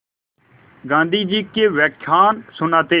गाँधी जी के व्याख्यान सुनते